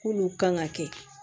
K'olu kan ka kɛ